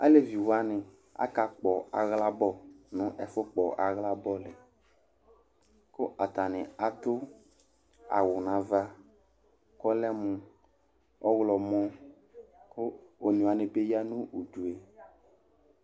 Alevi wanɩ akakpɔ aɣla bɔl nʋ ɛfʋkpɔ aɣla bɔl yɛ kʋ atanɩ atʋ awʋ nʋ ava kʋ ɔlɛ mʋ ɔɣlɔmɔ kʋ one wanɩ bɩ ya nʋ udu yɛ